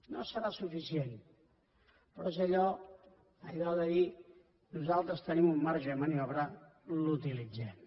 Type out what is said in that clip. no serà suficient però és allò de dir nosaltres tenim un marge de maniobra l’utilitzem